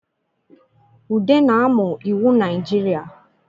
Ude na-amụ iwu Najirịa